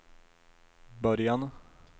början